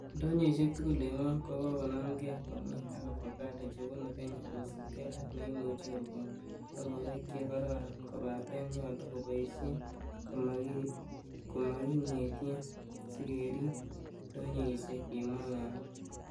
"Indonyoisiek tugul en gwony kokonamge komie ak avocado chebunu Kenya kosiibge ak neimuche kokon logoek che kororon, kobaten nyolu keboishien komokingetie sikerib indonyoisiek,''kimwa Ng'ang'a